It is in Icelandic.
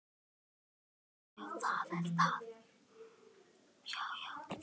hrekkur loks upp úr mér.